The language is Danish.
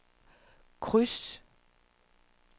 kryds